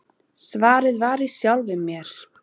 Svarið var í sjálfum mér.